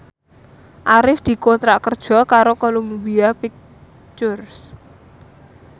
Arif dikontrak kerja karo Columbia Pictures